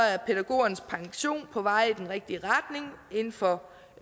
er pædagogernes pension på vej i den rigtige retning inden for